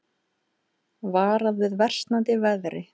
Varað við versnandi veðri